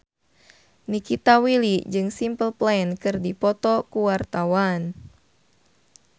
Nikita Willy jeung Simple Plan keur dipoto ku wartawan